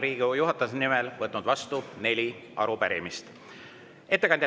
Olen Riigikogu juhatuse nimel võtnud vastu neli arupärimist.